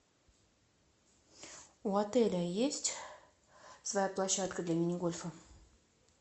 у отеля есть своя площадка для мини гольфа